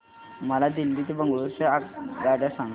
मला दिल्ली ते बंगळूरू च्या आगगाडया सांगा